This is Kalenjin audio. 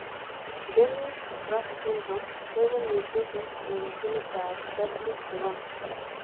Denys Drash syndrome koibu mutations eng' genit ab WT1